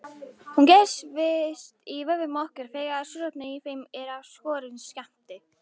Hún gerist í vöðvum okkar þegar súrefni í þeim er af skornum skammti.